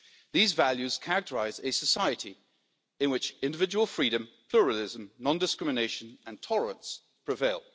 These values characterise a society in which individual freedom, pluralism, non discrimination and tolerance prevail.